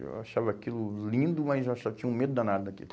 Eu achava aquilo lindo, mas eu achava, tinha um medo danado daquilo.